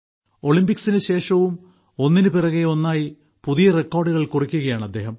ഒളിമ്പിക്സിന് ശേഷവും ഒന്നിന് പിറകെ ഒന്നായി പുതിയ റെക്കോർഡുകൾ കുറിക്കുകയാണ് അദ്ദേഹം